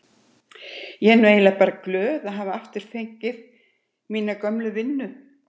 Ég er nú eiginlega bara glöð að hafa fengið aftur mína gömlu vinnu.